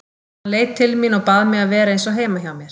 Hann leit til mín og bað mig að vera eins og heima hjá mér.